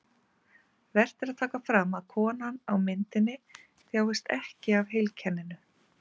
Vert er að taka fram að konan á myndinni þjáist ekki af heilkenninu.